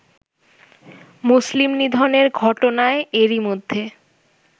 মুসলিম নিধনের ঘটনায় এরই মধ্যে